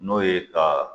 N'o ye ka